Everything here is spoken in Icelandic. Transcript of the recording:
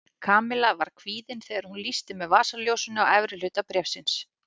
Kamilla var kvíðin þegar hún lýsti með vasaljósinu á efri hluta bréfsins.